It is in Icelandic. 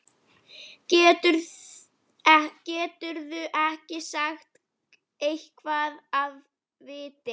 Geturðu ekki sagt eitthvað af viti?